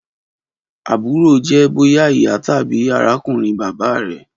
Aburo jẹ boya iya tabi arakunrin baba rẹ.